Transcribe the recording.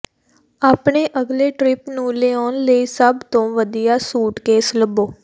ਆਪਣੇ ਅਗਲੇ ਟਰਿੱਪ ਨੂੰ ਲਿਆਉਣ ਲਈ ਸਭ ਤੋਂ ਵਧੀਆ ਸੂਟਕੇਸ ਲੱਭੋ